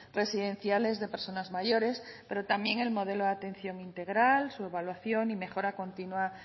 residenciales de personas mayores pero también el modelo de atención integral su evaluación y mejora continua